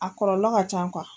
A kɔlɔlɔ ka ca kuwa.